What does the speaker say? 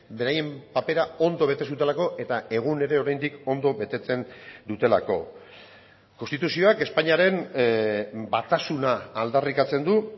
beraien papera ondo bete zutelako eta egun ere oraindik ondo betetzen dutelako konstituzioak espainiaren batasuna aldarrikatzen du